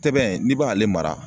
Tɛbɛn n'i b'ale mara